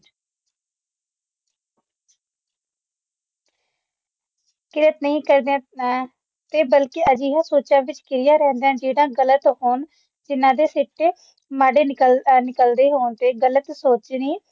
ਕਿਰਤ ਨਹੀ ਕਰਦੇ ਤੇ ਬਲਕਿ ਅਜਿਹੇ ਸੋਚਾ ਵਿੱਚ ਘਿਰਿਆ ਰਹਿੰਦਾ ਜਿਹੜਾ ਗਲਤ ਹੋਣ ਤੇ ਜਿਹਨਾ ਦੇ ਸਿੱਟੇ ਮਾੜੇ ਨਿਕਲਦੇ ਹੋਣ ਤੇ ਗ਼ਲਤ ਸੋਚਣੀ